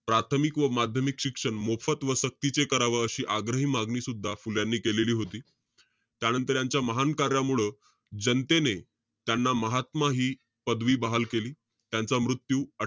प्राथमिक व माध्यमिक शिक्षण मोफत व सक्तीचे करावे अशी आग्रही मागणी सुद्धा फुल्यानी केलेली होती. त्यानंतर, यांच्या महान कार्यामुळं, जनतेने त्यांना महात्मा हि, पदवी बहाल केली. त्यांचा मृत्यू अ,